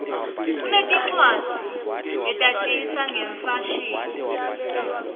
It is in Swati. kunetincwadzi letatisa ngemfashini